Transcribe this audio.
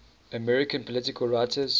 american political writers